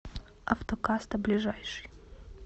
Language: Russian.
автокаста ближайший